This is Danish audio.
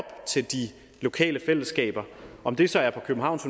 til de lokale fællesskaber om det så er på københavns